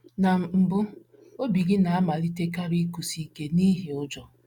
Na mbụ, obi gị na - amalitekarị ịkụsi ike n’ihi ụjọ.